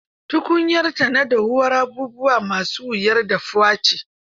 Tukunyarta ta dahuwar abubuwa ma su wuyar dahuwa ce.